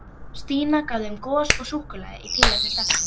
Stína gaf þeim gos og súkkulaði í tilefni dagsins.